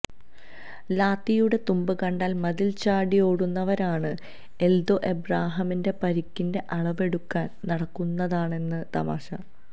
ലാത്തിയുടെ തുമ്പ് കണ്ടാല് മതില് ചാടിയോടുന്നവരാണ് എല്ദോ എബ്രഹാമിന്റെ പരിക്കിന്റെ അളവെടുക്കാന് നടക്കുന്നതെന്നാണ് തമാശ